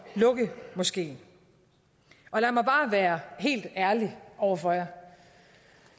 at lukke moskeen lad mig bare være helt ærlig over for jer